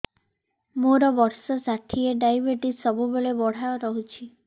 ମୋର ବର୍ଷ ଷାଠିଏ ଡାଏବେଟିସ ସବୁବେଳ ବଢ଼ା ରହୁଛି